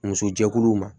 Muso jɛkuluw ma